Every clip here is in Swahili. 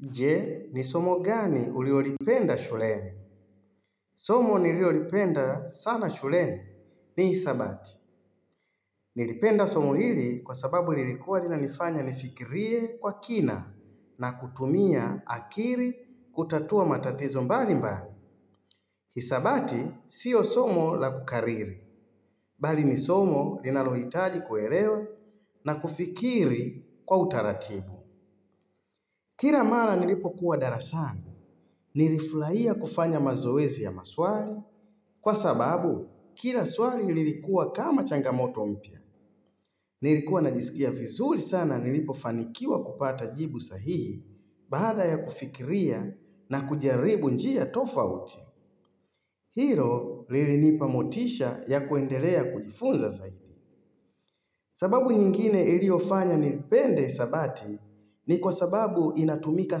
Je, ni somo gani ulilolipenda shuleni? Somo nililolipenda sana shuleni ni hisabati. Nilipenda somo hili kwa sababu lilikuwa linanifanya nifikirie kwa kina na kutumia akili kutatua matatizo mbali mbali. Hisabati, sio somo la kukariri. Bali ni somo linalohitaji kuelewa na kufikiri kwa utaratibu. Kila mara nilipokuwa darasani, nilifurahia kufanya mazoezi ya maswali, kwa sababu kila swali lilikuwa kama changamoto upya. Nilikuwa najisikia vizuri sana nilipofanikiwa kupata jibu sahihi, baada ya kufikiria na kujaribu njia tofauti. Hilo lilinipa motisha ya kuendelea kujifunza zaidi. Sababu nyingine iliyofanya nipende hisabati ni kwa sababu inatumika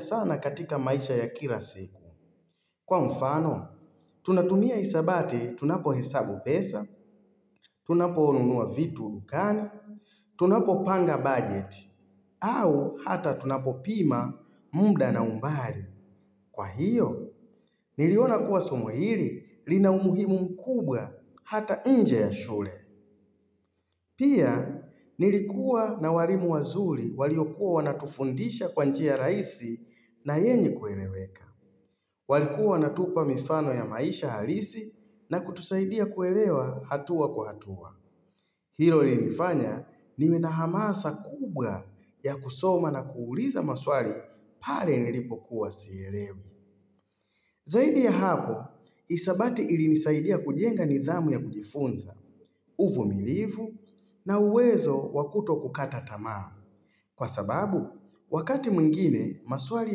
sana katika maisha ya kila siku. Kwa mfano, tunatumia hisabati tunapohesabu pesa, tunaponunua vitu dukani, tunapopanga budget, au hata tunapopima muda na umbali. Kwa hiyo, niliona kuwa somo hili lina umuhimu mkubwa hata nje ya shule. Pia, nilikuwa na walimu wazuri waliokuwa wanatufundisha kwa njia rahisi na yenye kueleweka. Walikuwa wanatupa mifano ya maisha halisi na kutusaidia kuelewa hatua kwa hatua. Hilo linifanya niwe na hamasa kubwa ya kusoma na kuuliza maswali pale nilipokuwa sielewi. Zaidi ya hapo, hisabati ilinisaidia kujenga nidhamu ya kujifunza, uvumilivu na uwezo wakutokukata tamaa. Kwa sababu, wakati mwingine, maswali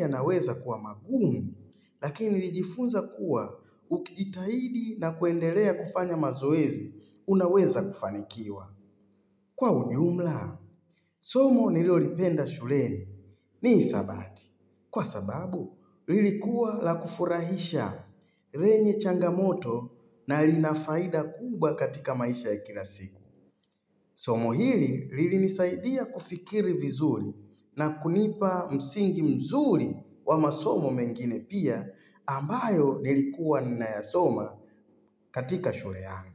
yanaweza kuwa magumu, lakini nilijifunza kuwa ukijitahidi na kuendelea kufanya mazoezi, unaweza kufanikiwa. Kwa ujumla, somo nilolipenda shuleni. Ni hisabati. Kwa sababu, lilikuwa la kufurahisha lenye changamoto na lina faida kubwa katika maisha ya kila siku. Somo hili lilinisaidia kufikiri vizuri na kunipa msingi mzuri wa masomo mengine pia ambayo nilikuwa ninayasoma katika shule yangu.